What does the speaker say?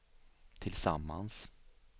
tillsammans